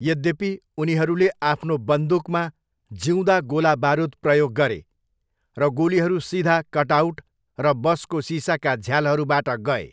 यद्यपि, उनीहरूले आफ्नो बन्दुकमा जिउँदा गोला बारुद प्रयोग गरे, र गोलीहरू सिधा कटआउट र बसको सिसाका झ्यालहरूबाट गए।